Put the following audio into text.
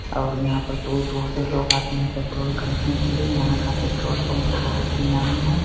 और यहां पर दूर-दूर से लोग आते है। पेट्रोल खरीदने के लिए यहां का पेट्रोल पंप तो बहुत ही नामी है।